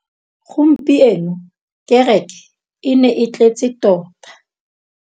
Gompieno kêrêkê e ne e tletse tota.